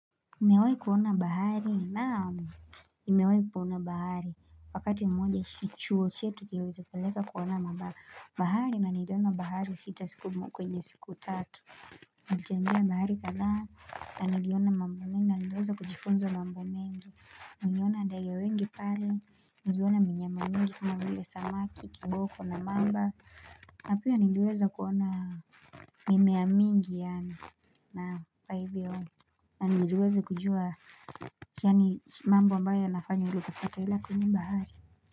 Nimewahi kuona bahari? Naam nimewahi kuona bahari Wakati mmoja chuo chetu kilitupeleka kuona bahari na niliona bahari sita siku kwenye siku tatu Nilitembea bahari kadhaa na niliona mambo mengi na niliweza kujifunza mambo mengi Niliona ndege wengi pale niliona mnyama mingi kama vile samaki, kiboko na mamba. Na pia niliweza kuona mimea mingi yaani mambo ambayo yanafanywa popote ila kwenye bahari.